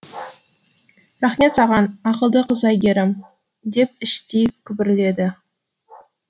рақмет саған ақылды қыз әйгерім деп іштей күбірледі